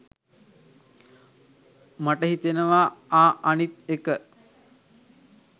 මට හිතෙනවා ආ අනිත් එක